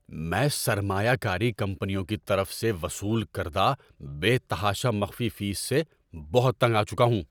میں سرمایہ کاری کمپنیوں کی طرف سے وصول کردہ بے تحاشا مخفی فیس سے بہت تنگ آ چکا ہوں۔